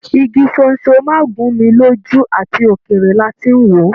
Igi sónsó má gùn mí lójú àti òkéré là tí n wọ.